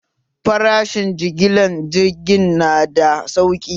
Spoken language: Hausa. Farashen jigilan jiigin nada sauƙi